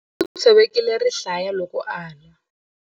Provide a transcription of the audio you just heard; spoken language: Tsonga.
U tshovekile rihlaya loko a lwa.